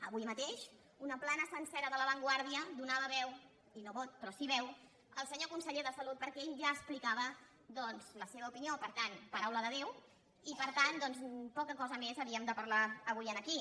avui mateix una plana sencera de la vanguardia donava veu i no vot però sí veu al senyor conseller de salut perquè ell ja explicava doncs la seva opinió per tant paraula de déu i per tant poca cosa més havíem de parlar avui aquí